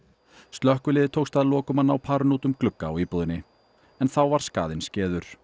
slökkviliði tókst að lokum að ná parinu út um glugga á íbúðinni en þá var skaðinn